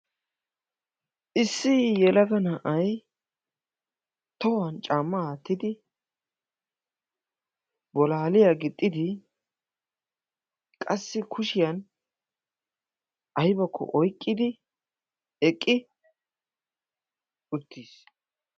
Issi yelaga na'ay tohuwan caammaa attidi bolaaliyaa gixxidi, qassi kushiyan aybbakko oyqqidi eqqi uttiis.